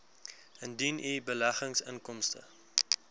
indien u beleggingsinkomste